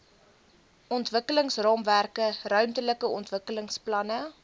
ontwikkelingsraamwerke ruimtelike ontwikkelingsplanne